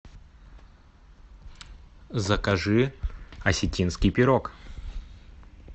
закажи осетинский пирог